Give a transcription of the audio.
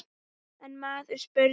Einn maður spurði